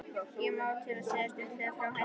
Ég má til með að segja stuttlega frá henni.